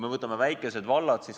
Võtame väikesed vallad.